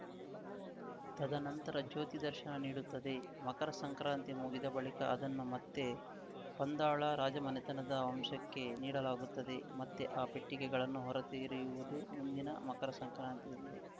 ತದನಂತರ ಜ್ಯೋತಿ ದರ್ಶನ ನೀಡುತ್ತದೆ ಮಕರ ಸಂಕ್ರಾಂತಿ ಮುಗಿದ ಬಳಿಕ ಅದನ್ನು ಮತ್ತೆ ಪಂದಳ ರಾಜಮನೆತನದ ವಶಕ್ಕೇ ನೀಡಲಾಗುತ್ತದೆ ಮತ್ತೆ ಆ ಪೆಟ್ಟಿಗೆಗಳನ್ನು ಹೊರ ತೆರೆಯುವುದು ಮುಂದಿನ ಮಕರ ಸಂಕ್ರಾಂತಿಯಂದೇ